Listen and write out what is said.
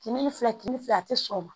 Kinbi ni fila kimi fila a te sɔn o ma